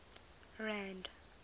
rand